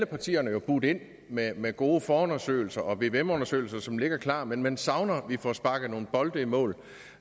partierne jo budt ind med med gode forundersøgelser og vvm undersøgelser som ligger klar men man savner at vi får sparket nogle bolde i mål